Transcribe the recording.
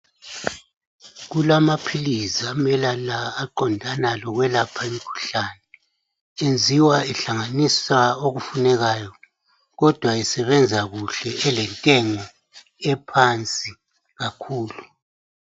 Kulamaphilizi amele aqondana lokwelapha imkhuhlane enziwa ehlanganisa okufunekayo kodwa esebenza kuhle elentengo ephansi kakhulu.